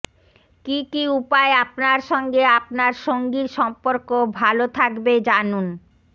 কী কী উপায় আপনার সঙ্গে আপনার সঙ্গীর সম্পর্ক ভালো থাকবে জানুনঃ